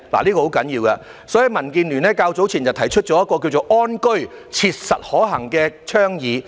這是很重要的，所以民建聯較早前提出了一項"安居.切實可行"的倡議。